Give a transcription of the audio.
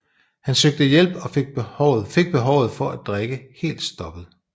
Han søgte hjælp og fik behovet for at drikke helt stoppet